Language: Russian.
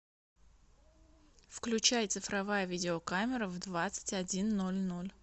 включай цифровая видеокамера в двадцать один ноль ноль